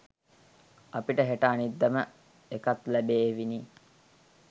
අපිට හෙට අනිද්දාම එකත් ලැබේවිනේ